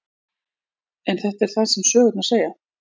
En þetta er það sem sögurnar segja.